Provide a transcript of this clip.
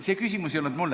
See küsimus ei olnud mulle.